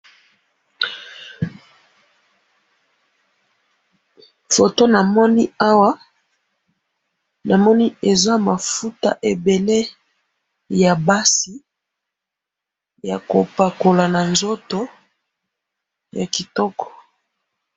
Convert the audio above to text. foto namoni awa namoni eza mafuta ebele ya basi ya kopakola na nzoto ya kitoko